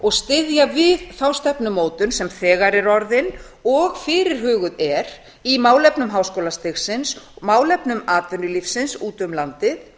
og styðja við þá stefnumótun sem þegar er orðin og fyrirhuguð er í málefnum háskólastigsins málefnum atvinnulífsins út um landið